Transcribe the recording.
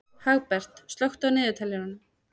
Hagbert, slökktu á niðurteljaranum.